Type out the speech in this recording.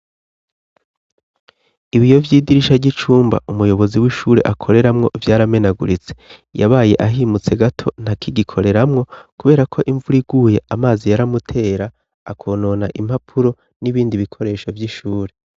Ibiyo vyidirisha ry'icumba umuyobozi w'ishure akoreramwo vyaramenaguritse yabaye ahimutse gato nta kigikoreramwo, kubera ko imvur iguye amazi yaramutera akonona impapuro n'ibindi bikoresho vy'ishure.